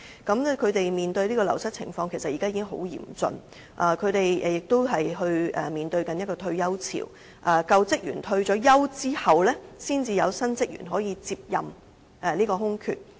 他們面對的流失情況，其實已經很嚴峻；他們亦面對退休潮，在舊職員退休後，才有新職員填補空缺。